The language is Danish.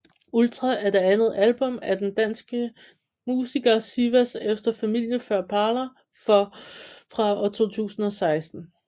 Ultra er det andet album af den danske musiker Sivas efter Familie Før Para fra 2016